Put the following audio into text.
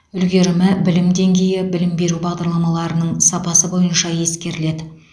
үлгерімі білім деңгейі білім беру бағдарламаларының сапасы бойынша ескеріледі